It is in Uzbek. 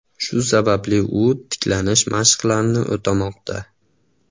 Shu sababli u tiklanish mashqlarini o‘tamoqda.